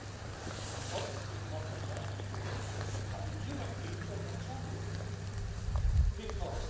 in Europe. We have a number of authoritarian leaders. Yes, thank you for